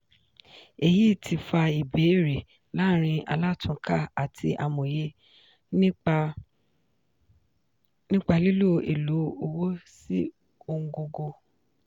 èyí ti fa ìbéèrè láàrin alátúnkà àti amòye nípa lílo èlò owó sí ọ̀ngógó.